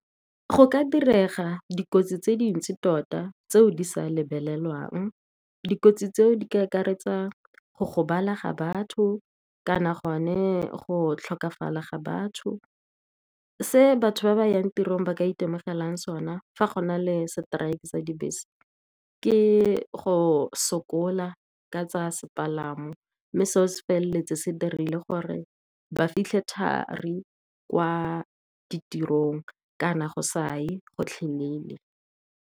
Go ka direga dikotsi tse dintsi tota, tseo di sa lebelelwang. Dikotsi tseo di ka akaretsa go gobala ga batho kana gone go tlhokafala ga batho. Se batho ba ba yang tirong ba ka itemogelang sona, fa go na le seteraeke tsa dibese, ke go sokola ka tsa sepalamo. Mme seo se feleletsa se dirile gore ba fitlhe thari kwa ditirong, kana go sa ye gotlhe lele.